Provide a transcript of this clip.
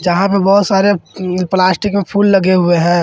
जहां पर बहुत सारे प्लास्टिक में फूल लगे हुए हैं।